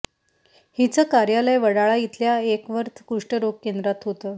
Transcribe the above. हिचं कार्यालय वडाळा इथल्या अॅकवर्थ कुष्ठरोग केंद्रात होतं